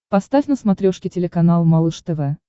поставь на смотрешке телеканал малыш тв